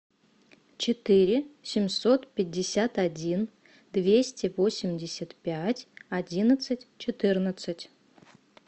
четыре семьсот пятьдесят один двести восемьдесят пять одиннадцать четырнадцать